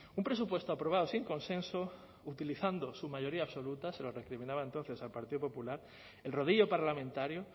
un presupuesto aprobado sin consenso utilizando su mayoría absoluta se lo recriminaba entonces al partido popular el rodillo parlamentario